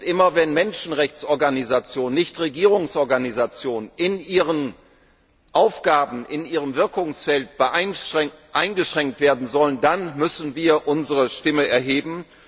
Immer wenn Menschenrechtsorganisationen Nichtregierungsorganisationen in ihren Aufgaben, in ihrem Wirkungsfeld eingeschränkt werden sollen, dann müssen wir unsere Stimme erheben.